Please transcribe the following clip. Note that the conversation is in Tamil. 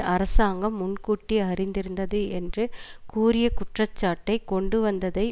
அரசாங்கம் முன் கூட்டி அறிந்திருந்தது என்று கூறிய குற்றச்சாட்டை கொண்டு வந்ததை